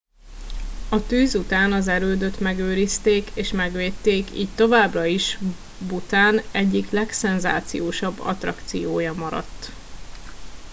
a tűz után az erődöt megőrizték és megvédték így továbbra is bhután egyik legszenzációsabb attrakciója maradt